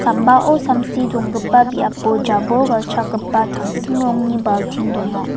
ambao samsi donggipa biapo jabol galchakgipa tangsim rongni baltin donga.